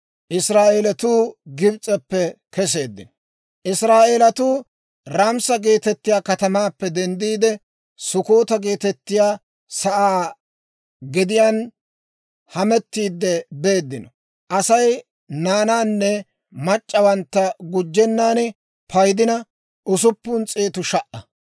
Israa'eelatuu Raamisa geetettiyaa katamaappe denddiide Sukkoota geetettiyaa sa'aa gediyaan hametiidde beeddino. Aasi naanaanne mac'c'awantta gujjennan paydina, usuppun s'eetu sha"a.